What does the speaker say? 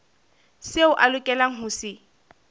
seo a lokelang ho se